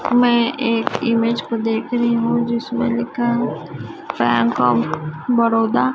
मैं एक इमेज को देख रही हु जिसमें लिखा है बैंक ऑफ बड़ौदा ।